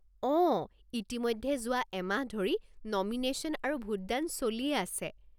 অঁ, ইতিমধ্যে যোৱা এমাহ ধৰি নমিনেশ্যন আৰু ভোটদান চলিয়েই আছে।